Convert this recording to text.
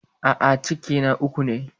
A'a, ciki na uku ne.